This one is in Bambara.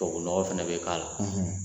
Tubabunɔgɔ fana bɛ k'a la